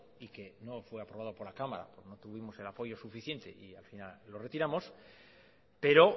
y que no fue aprobado por la cámara no tuvimos el apoyo suficiente y al final lo retiramos pero